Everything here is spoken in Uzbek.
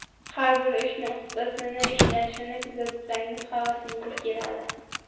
Har bir ishni ustasini ishlashini kuzatsangiz, havasingiz keladi.